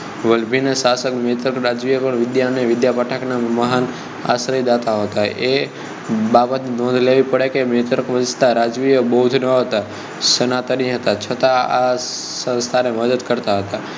વલભી નાં શાસક મૈત્રક રાજાઓ પણ વિદ્યા અને વિદ્યાપીઠનાં મહાન આશ્રયદાતા હતા એ બાબત ની નોંધ લેવી પડે કે મૈત્રક વંશ ના રાજવીઓ બૌદ્ધ ધર્મી ના હતા સનાતનીઓ હતા છતાં આ સંસ્થા ને મદદ કરતા હતાં